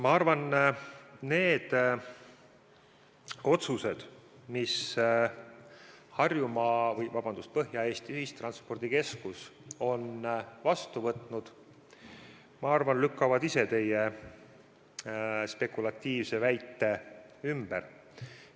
Ma arvan, need otsused, mis Põhja-Eesti Ühistranspordikeskus on vastu võtnud, lükkavad ise teie spekulatiivse väite ümber.